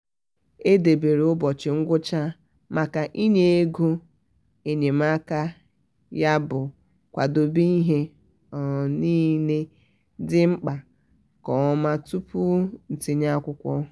edebere ụbọchi ngwụcha maka inye-ego enyemakayabụ kwadebe ihe um niile dị mkpa nke ọma tupu ntinye akwụkwọ.